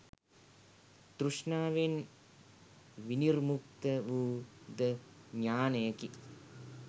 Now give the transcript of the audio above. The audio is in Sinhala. තෘෂ්ණාවෙන් විනිර්මුක්ත වූ ද ඥානයකි.